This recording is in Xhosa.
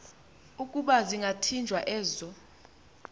ukuba zingathinjwa ezo